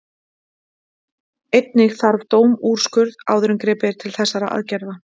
Einnig þarf dómsúrskurð áður en gripið er til þessara aðgerða.